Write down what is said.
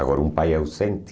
Agora um pai ausente,